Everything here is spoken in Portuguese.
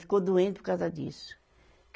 Ficou doente por causa disso.